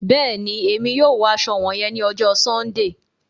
Bẹẹni, Èmí yóò wọ aṣọ wọnyẹn ni ọjọ Sundee